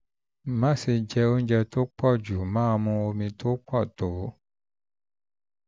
um má ṣe jẹ oúnjẹ tó pọ̀ jù jù máa mu omi tó pọ̀ tó